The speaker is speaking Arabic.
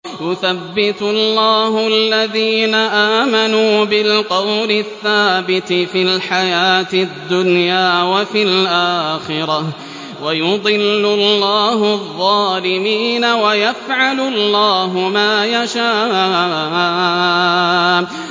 يُثَبِّتُ اللَّهُ الَّذِينَ آمَنُوا بِالْقَوْلِ الثَّابِتِ فِي الْحَيَاةِ الدُّنْيَا وَفِي الْآخِرَةِ ۖ وَيُضِلُّ اللَّهُ الظَّالِمِينَ ۚ وَيَفْعَلُ اللَّهُ مَا يَشَاءُ